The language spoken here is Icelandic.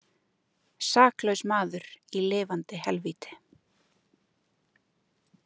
Saklaus maður í lifandi helvíti.